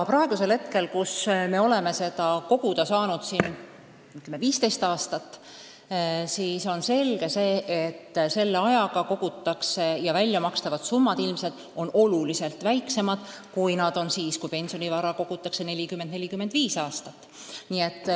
Praeguseks me oleme seda koguda saanud umbes 15 aastat ning on selge, et selle ajaga on kogutud vähe ning väljamakstavad summad on ilmselt märksa väiksemad kui siis, kui pensionivara kogutakse 40–45 aastat.